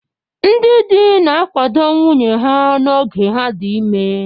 Ndị di na-akwado nwunye ha n'oge ha dị ime.